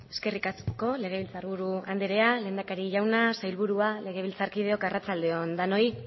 eskerrik asko legebiltzarburu andrea lehendakari jauna sailburua legebiltzarkideok arratsalde on denoi